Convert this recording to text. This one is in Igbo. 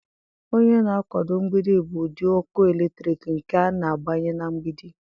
Onye na-akwado mgbidi bụ ụdị ọkụ eletrik nke a na-agbanye na mgbidi.